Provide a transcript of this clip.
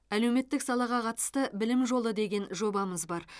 әлеуметтік салаға қатысты білім жолы деген жобамыз бар